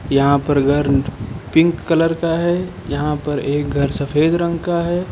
यहां पर घर पिंक कलर का है यहां पर एक घर सफेद रंग का है।